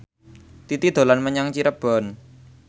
Titi dolan menyang Cirebon